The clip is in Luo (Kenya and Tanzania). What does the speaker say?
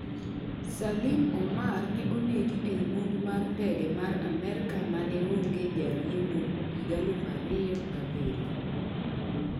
Salim Omar, ne onegi ei monj mar ndege mar Amerka maneonge jariembo, higa 2007